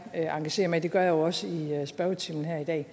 engagere mig i det gør jeg jo også i spørgetimen her i dag